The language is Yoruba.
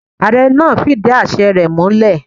Ààre náà fidí àse rẹ múlè.